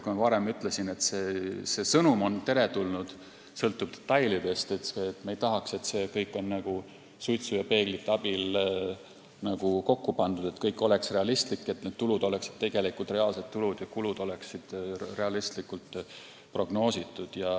Nagu ma varem ütlesin, see sõnum on teretulnud, aga sõltub detailidest – me ei tahaks, et see kõik oleks nagu suitsu ja peeglite abil kokku pandud, vaid et kõik oleks realistlik, st tulud oleksid tegelikud reaalsed tulud ja kulud oleksid õigesti prognoositud.